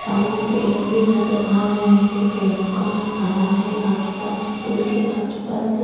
सामने पेड़ भी नज़र आ रहे हैं पेड़ों का रंग हरा है आस-पासपल के आस-पास--